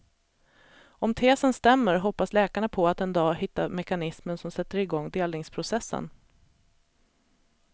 Om tesen stämmer hoppas läkarna på att en dag hitta mekanismen som sätter igång delningsprocessen.